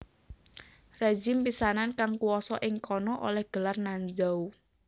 Rezim pisanan kang kuwasa ing kana oleh gelar Nanzhao